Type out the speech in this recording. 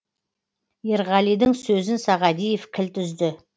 ерғалидың сөзін сағадиев кілт үзді